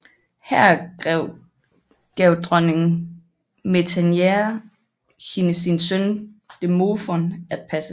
Her gav dronning Metaneira hende sin søn Demofon at passe